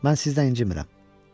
Mən sizdən incimirəm.